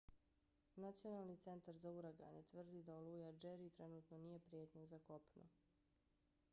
nacionalni centar za uragane nhc tvrdi da oluja jerry trenutno nije prijetnja za kopno